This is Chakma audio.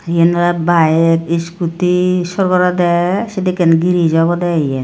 eyen olay bayek iskuti sorgoraydey sediken gires obodey eyen.